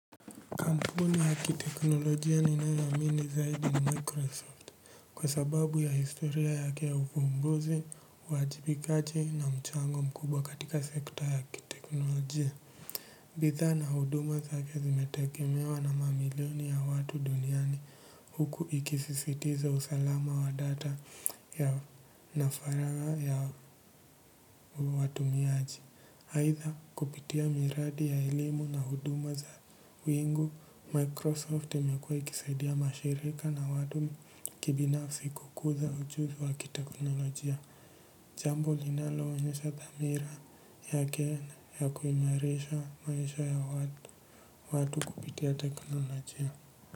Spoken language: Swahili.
Kampuni ya kiteknolojia ninayoiamini zaidi ni microsoft kwa sababu ya historia yake ya uvumbuzi uwajibikaji na mchango mkubwa katika sekta ya kiteknolojia. Bidhaa na huduma zake zimetegemewa na mamilioni ya watu duniani huku ikisisitiza usalama wa data na faragha ya watumiaji. Aidha kupitia miradi ya elimu na huduma za wingu, Microsoft imekua ikisaidia mashirika na watu kibinafsi kukuza ujuzi wa kiteknolojia. Jambo linaoonyesha dhamira yake ya kuimarisha maisha ya watu kupitia teknolojia.